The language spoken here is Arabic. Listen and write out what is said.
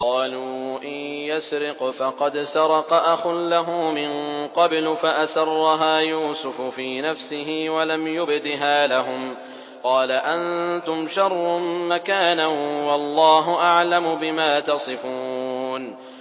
۞ قَالُوا إِن يَسْرِقْ فَقَدْ سَرَقَ أَخٌ لَّهُ مِن قَبْلُ ۚ فَأَسَرَّهَا يُوسُفُ فِي نَفْسِهِ وَلَمْ يُبْدِهَا لَهُمْ ۚ قَالَ أَنتُمْ شَرٌّ مَّكَانًا ۖ وَاللَّهُ أَعْلَمُ بِمَا تَصِفُونَ